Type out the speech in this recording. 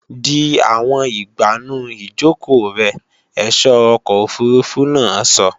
Di àwọn ìgbànú ìjòkò rẹ, ẹ̀só ọkọ̀ òfurufú náà sọ!